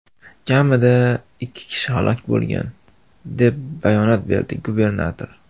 Kamida ikki kishi halok bo‘lgan, deb bayonot berdi gubernator.